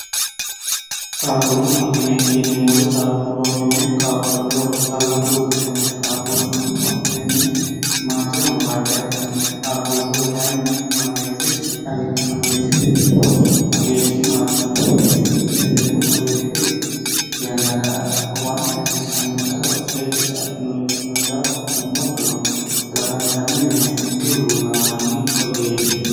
qaaqullu akime iyineemmori qaaqullu hakime qaaqulleho calla uurtinote qaaqullu akiminni maatirono badde affinote qaaqulliho kayinni mageeshi tagichi mageeshshi ii mageeshshi marfe mageeshshi kilineewwoy mageeshshi yannara waanta hasiissannonsaro seekkite affinore kitino daa fo'mo moddono kalaqantanno yinee dihuluullamanni hogeeyyeete